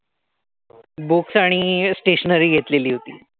Books आणि stationary घेतलेली होती.